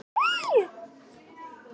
Lömbin týndu mæðrunum.